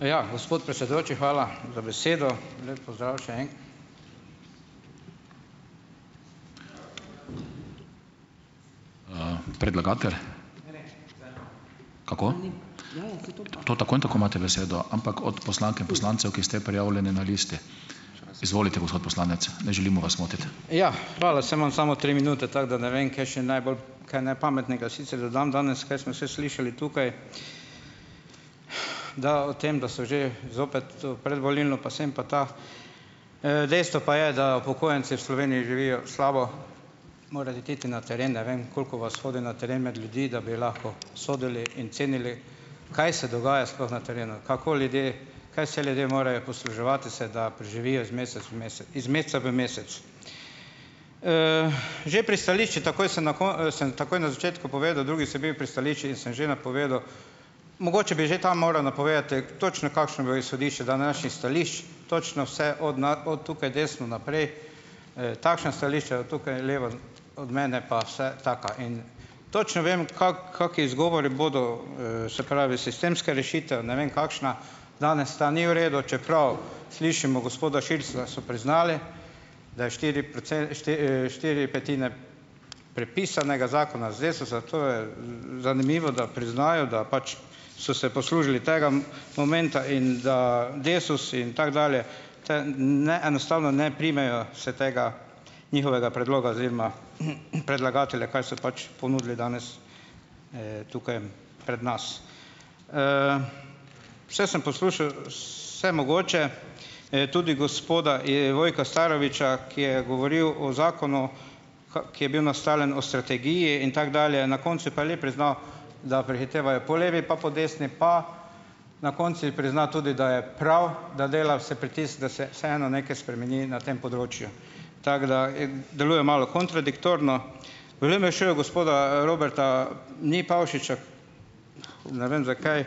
Ja. Gospod predsedujoči, hvala za besedo. Lep pozdrav še Ja. Hvala, saj imam samo tri minute, tako da ne vem, kaj še naj bolj, kaj naj pametnega sicer dodam danes, kaj smo vse slišali tukaj, da o tem, da so že zopet tu predvolilno pa sem pa ta. Dejstvo pa je, da upokojenci v Sloveniji živijo slabo. Morali boste iti na teren. Ne vem, koliko vas hodi na teren med ljudi, da bi lahko sodili in cenili, kaj se dogaja sploh na terenu, kako ljudje, kaj vse ljudje morajo posluževati se, da preživijo iz mesec v iz meseca v mesec, Že pri stališču takoj sem sem takoj na začetku povedal, drugič sem bil pri stališčih in sem že napovedal, mogoče bi že tam moral napovedati, točno kakšno bo izhodišče današnjih stališč, točno vse od od tukaj desno naprej, takšna stališča, tukaj levo od mene pa vse taka in točno vem, kaki izgovori bodo, se pravi sistemska rešitev, ne vem kakšna. Danes ta ni v redu, čeprav slišimo gospoda Širclja, so priznali, da je štiri štiri petine prepisanega zakona iz Desusa. To je, zanimivo, da priznajo, da pač so se poslužili tega momenta in da Desus in tako dalje te ne, enostavno ne primejo se tega njihovega predloga oziroma, predlagatelja, kaj so pač ponudili danes, tukaj pred nas. Vse sem poslušal vsemogoče, tudi gospoda, Vojka Staroviča, ki je govoril o zakonu, ki je bil naslovljen o strategiji in tako dalje, na koncu pa je le priznal, da prehitevajo po levi pa po desni, pa na koncu je priznal tudi, da je prav, da dela vse pritisk, da se vseeno nekaj spremeni na tem področju. Tako da deluje malo kontradiktorno. V LMŠ gospoda, Roberta ni Pavšiča. Ne vem, zakaj,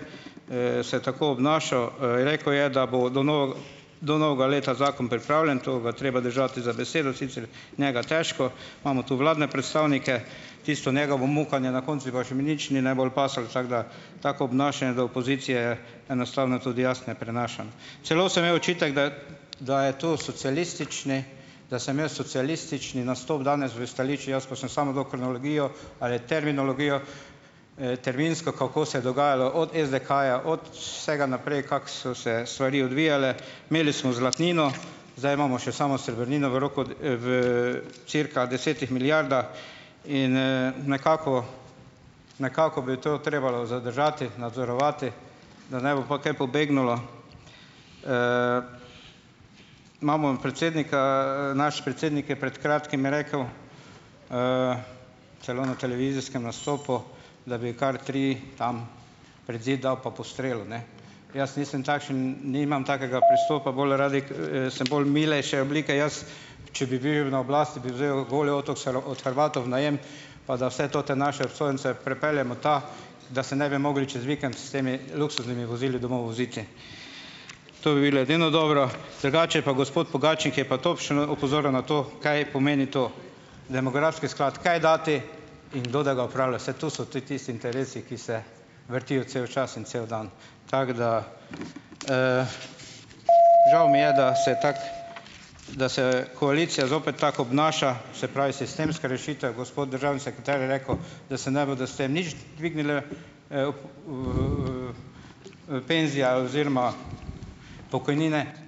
se je tako obnašal, Rekel je, da bo do do novega leta zakon pripravljen. To ga je treba držati za besedo, sicer njega težko. Imamo tu vladne predstavnike, tisto njegovo mukanje na koncu pa še mi nič ni najbolj pasalo, tako da tako obnašanje do opozicije enostavno tudi jaz ne prenašam. Celo sem imel očitek, da da je to socialistični, da sem imel socialistični nastop danes v stališču, jaz pa sem samo to kronologijo ali terminologijo, terminsko, kako se je dogajalo od SDH-ja, od vsega naprej, kako so se stvari odvijale. Imeli smo zlatnino, zdaj imamo še samo srebrnino v roku, v cirka desetih milijardah. In, nekako nekako bi to trebalo zadržati, nadzorovati, da ne bo potem pobegnilo. imamo predsednika. Naš predsednik je pred kratkim rekel, celo na televizijskem nastopu, da bi kar tri tam pred zid dal in postrelil, ne. Jaz nisem takšen, nimam takega pristopa, bolj sem bolj milejše oblike. Jaz, če bi bil na oblasti, bi vzel Goli otok s od Hrvatov v najem, pa da vse te naše obsojence prepeljemo tja, da se ne bi mogli čez vikend s temi luksuznimi vozili domov voziti. To bi bilo edino dobro. Drugače pa gospod Pogačnik je pa točno opozoril na to, kaj pomeni to demografski sklad, kaj dati in kdo da ga upravlja. Saj to so tudi tisti interesi, ki se vrtijo cel čas in cel dan. Tako da, žal mi je, da se je tako, da se koalicija zopet tako obnaša, se pravi, sistemske rešitve. Gospod državni sekretar je rekel, da se ne bodo s tem nič dvignile, penzija oziroma pokojnine.